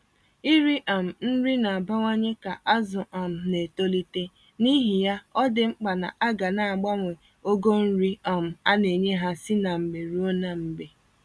Iri um nri na-abawanye ka azụ um na-etolite, n'ihi ya, ọdị mkpa na aga naagbanwe ogo nri um a-nenye ha si na mgbe ruo na mgbe